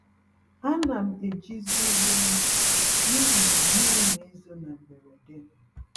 Ánám eji zi uwe mmiri n'ihi na mmiri n'ezo na mberede,